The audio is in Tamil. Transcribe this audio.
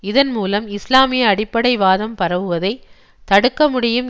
இதன் மூலம் இஸ்லாமிய அடிப்படை வாதம் பரவுவதைத் தடுக்க முடியும்